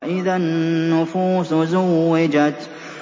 وَإِذَا النُّفُوسُ زُوِّجَتْ